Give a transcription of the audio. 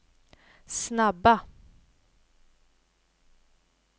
snabba